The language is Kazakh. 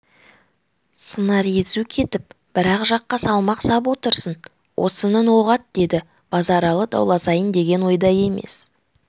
сыңар езу кетіп бір-ақ жаққа салмақ сап отырсың осының оғат деді базаралы дауласайын деген ойда емес